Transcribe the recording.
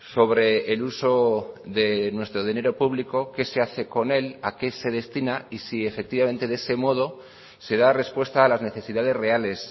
sobre el uso de nuestro dinero público qué se hace con él a qué se destina y si efectivamente de ese modo se da respuesta a las necesidades reales